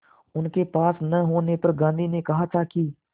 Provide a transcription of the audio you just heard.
उनके पास न होने पर गांधी ने कहा था कि